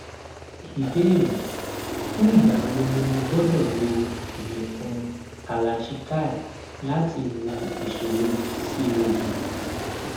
ìbéèrè fún ìgbà wo ni mo gbọdọ lo ìyẹfun kalachikai láti wo ìṣòro pcod